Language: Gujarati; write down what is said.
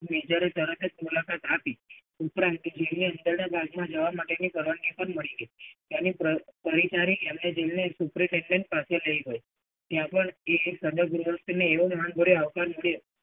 બીજરે તરત જ મુલાકાત આપી. ઉપરાંત બાગમાં જવા માટેની પણ પરવાનગી મળી ગઈ. તેને પરિજારી superintendent પાસે લઈ ગયો. ત્યાં પણ જોડે આવકાર મળ્યો.